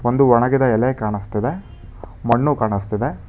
ಒಂದು ಒಣಗಿದೆ ಎಲೆ ಕಾಣುಸ್ತಿದೆ ಮಣ್ಣು ಕಾಣುಸ್ತಿದೆ.